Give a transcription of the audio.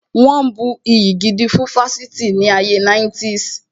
Wọn bu iyì gidi fún ifásitì ní ayé 90's